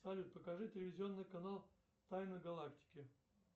салют покажи телевизионный канал тайна галактики